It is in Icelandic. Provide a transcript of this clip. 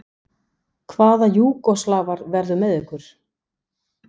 Hvaða Júgóslavar verða með ykkur?